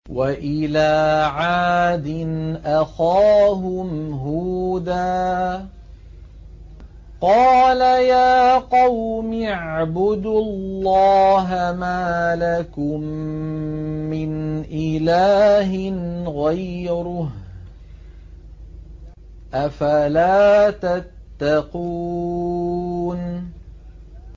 ۞ وَإِلَىٰ عَادٍ أَخَاهُمْ هُودًا ۗ قَالَ يَا قَوْمِ اعْبُدُوا اللَّهَ مَا لَكُم مِّنْ إِلَٰهٍ غَيْرُهُ ۚ أَفَلَا تَتَّقُونَ